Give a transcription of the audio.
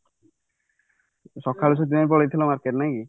ସକାଳୁ ପଳେଈ ଥିଲ market ନାଇକି